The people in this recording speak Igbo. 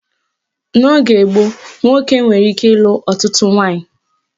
N'oge gboo, nwoke nwere ike ịlụ ọtụtụ nwaanyị